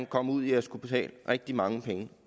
komme ud i at skulle betale rigtig mange penge